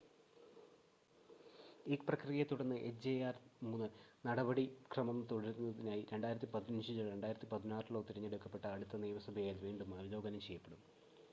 ഈ പ്രക്രിയയെ തുടർന്ന് എച്ച്ജെആർ-3 നടപടിക്രമം തുടരുന്നതിനായി 2015-ലോ 2016-ലോ തിരഞ്ഞെടുക്കപ്പെട്ട അടുത്ത നിയമസഭയാൽ വീണ്ടും അവലോകനം ചെയ്യപ്പെടും